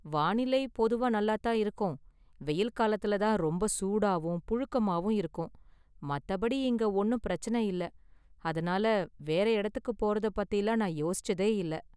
வானிலை பொதுவா நல்லாதான் இருக்கும், வெயில் காலத்துல தான் ரொம்ப சூடாவும் புழுக்கமாவும் இருக்கும், மத்தபடி இங்க​ ஒன்னும் பிரச்சனை இல்ல, அதனால வேற​ இடத்துக்கு போறதை பத்திலாம் நான் யோசிச்சதே இல்ல.